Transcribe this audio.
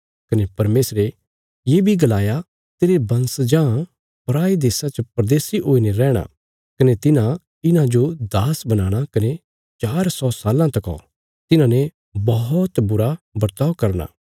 कने परमेशरे ये बी गलाया तेरे वंशजां पराये देशा च प्रदेशी हुईने रैहणा कने तिन्हां इन्हांजो दास बनाणा कने चार सौ साल्लां तका तिन्हांने बौहत बुरा बर्ताव करना